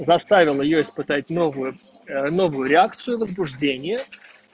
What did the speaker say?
заставил её испытать новую новую реакцию возбуждение